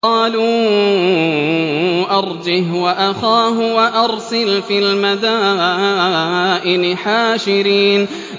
قَالُوا أَرْجِهْ وَأَخَاهُ وَأَرْسِلْ فِي الْمَدَائِنِ حَاشِرِينَ